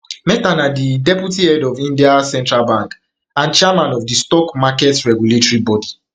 mehta na di deputy head of india central bank and chairman of di stock market regulatory body